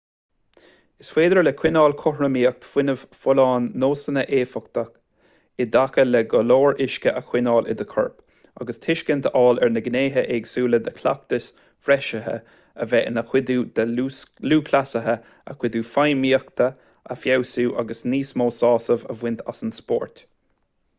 is féidir le coinneáil cothromaíocht fuinnimh fholláin nósanna éifeachta i dtaca le go leor uisce a choinneáil i do chorp agus tuiscint a fháil ar na gnéithe éagsúla de chleachtais bhreisithe a bheith ina chuidiú de lúthchleasaithe a gcuid feidhmíochta a fheabhsú agus níos mó sásaimh a bhaint as an spórt